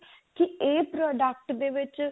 ਕੀ ਇਹ product ਦੇ ਵਿੱਚ